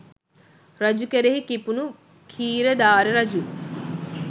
රජු කෙරෙහි කිපුණු ඛීරධාර රජු